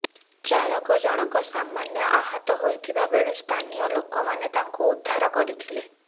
ଚାଳକ ଜଣକ ସାମାନ୍ୟ ଆହତ ହୋଇଥିବା ବେଳେ ସ୍ଥାନୀୟ ଲୋକମାନେ ତାଙ୍କୁ ଉଦ୍ଧାର କରିଥିଲେ